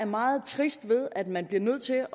meget trist af at man bliver nødt til